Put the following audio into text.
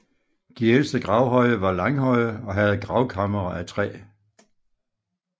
De ældste gravhøje var langhøje og havde gravkamre af træ